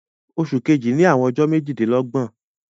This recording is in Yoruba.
Òṣù kẹ̀jì ní àwọn ọjọ̀ méjìdínlọ́gbọ̀n